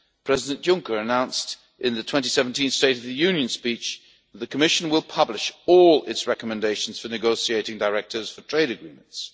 President Juncker announced, in the 2017 State of the Union speech, that the Commission would publish all its recommendations for negotiating directives for trade agreements.